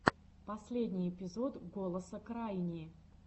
последний эпизод голоса крайни